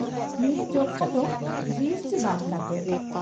-ᱱᱤᱭᱟᱹ ᱡᱚᱠᱷᱟ ᱫᱚ ᱡᱤᱮᱥᱴᱤ ᱵᱟᱫ ᱠᱟᱛᱮᱫ ᱾